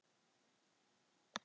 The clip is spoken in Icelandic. Munu þau bjarga fjölskyldunni